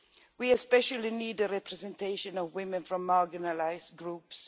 We especially need the representation of women from marginalised groups.